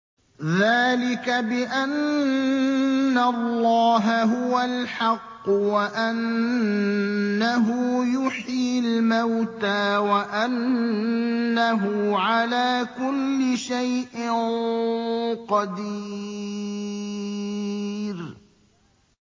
ذَٰلِكَ بِأَنَّ اللَّهَ هُوَ الْحَقُّ وَأَنَّهُ يُحْيِي الْمَوْتَىٰ وَأَنَّهُ عَلَىٰ كُلِّ شَيْءٍ قَدِيرٌ